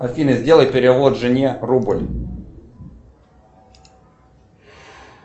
афина сделай перевод жене рубль